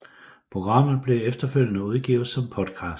Programmet blev efterfølgende udgivet som podcast